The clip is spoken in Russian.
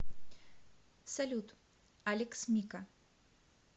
салют алекс мика